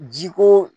Ji ko